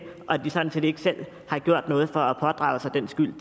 og de har sådan set ikke selv gjort noget for at pådrage sig den skyld